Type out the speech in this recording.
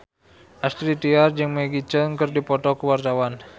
Astrid Tiar jeung Maggie Cheung keur dipoto ku wartawan